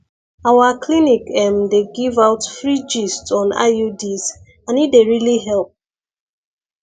our clinic ehm dey give out free gist on iuds and e dey really help